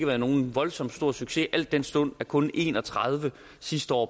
været nogen voldsomt stor succes al den stund der kun en og tredive sidste år